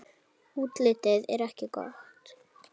Útlitið er ekki gott.